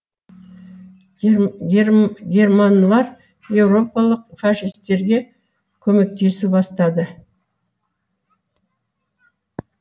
германлар еуропалық фашистерға көмектесу бастады